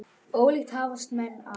Ólíkt hafast menn að.